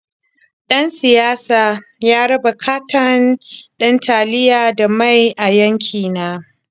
Ɗan siyasar ya raba katon ɗin taliya da mai a yankina.